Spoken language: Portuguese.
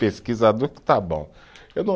Pesquisador que está bom, eu não